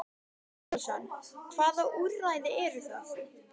Andri Ólafsson: Hvaða úrræði eru það?